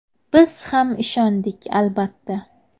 Biz ham ishondik, albatta.